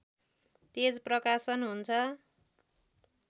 तेज प्रकाशन हुन्छ